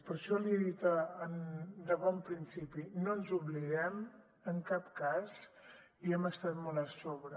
per això li he dit de bon principi no ens n’oblidem en cap cas i hi hem estat molt a sobre